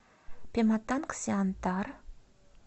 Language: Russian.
пематангсиантар